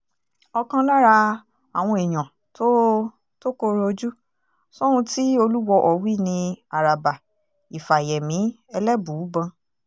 ọ̀kan lára àwọn èèyàn tó tó kọ̀rọ̀ ojú sóhun tí olúwoọ̀ wí ni àràbà ìfàyèmí ẹlẹ́bùúbọn